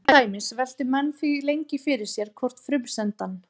Til dæmis veltu menn því lengi fyrir sér hvort frumsendan: